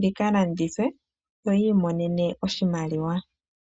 dhika landithwe yo yi imonene oshimaliwa.